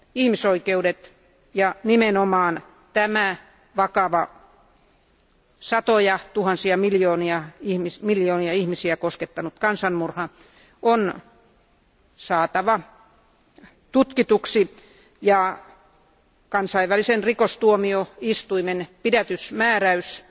Ihmisoikeudet ja nimenomaan tämä vakava, satoja tuhansia, miljoonia ihmisiä koskettanut kansanmurha on saatava tutkituksi, ja kansainvälisen rikostuomioistuimen pidätysmääräys